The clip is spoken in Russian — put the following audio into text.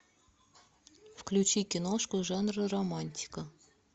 включи киношку жанра романтика